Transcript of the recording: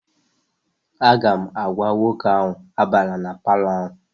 Aga m agwa nwoke ahụ, abala na palọ ahụ!